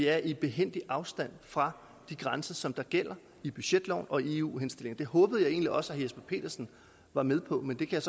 er i behændig afstand fra de grænser som gælder i budgetloven og i eu henstillingen det håbede jeg egentlig også at herre jesper petersen var med på men det kan